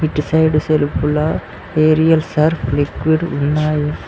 ఇటు సైడ్ సెల్ఫలా aerial sir liquid ఉన్నాయి.